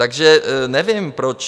Takže nevím proč.